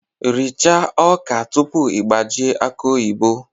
Richaa ọka tupu ị gbajie aki oyibo!